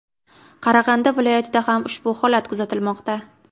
Qarag‘anda viloyatida ham ushbu holat kuzatilmoqda.